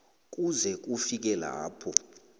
kuze kufike lapho